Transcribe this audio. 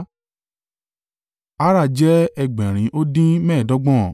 Arah jẹ́ ẹgbẹ̀rin ó dín mẹ́ẹ̀ẹ́dọ́gbọ̀n (775)